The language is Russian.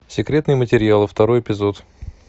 секретные материалы второй эпизод